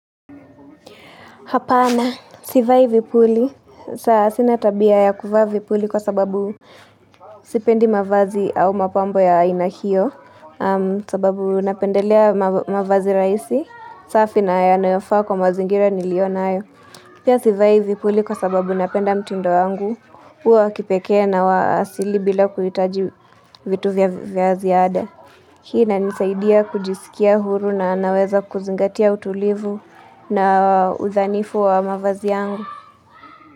Hapana, sivai vipuli sawa sina tabia ya kuvaa vipuli kwa sababu Sipendi mavazi au mapambo ya aina hio sababu napendelea mavazi rahisi safi na yanayofaa kwa mazingira nilionayo Pia sivai vipuli kwa sababu napenda mtindo wangu huwa wa kipekee na wa asili bila kuhitaji vitu vya, vya ziada Hii inanisaidia kujisikia huru na naweza kuzingatia utulivu na udhanifu wa mavazi yangu.